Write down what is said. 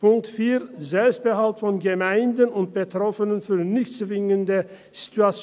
Punkt 4, Selbstbehalt von Gemeinden und Betroffenen für nicht zwingende SIL